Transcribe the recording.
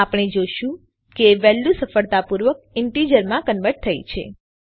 આપણે જોશું કે વેલ્યુ સફળતાપૂર્વક ઈન્ટીજરમાં કન્વર્ટ થઇ છે